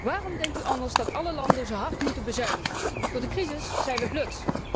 Waarom denkt u anders dat alle landen zo hard moeten bezuinigen? Door de crisis zijn wij blut!